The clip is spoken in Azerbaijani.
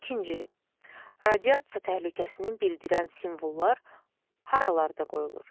İkinci, radiasiya təhlükəsinin bildirən simvollar haralarda qoyulur?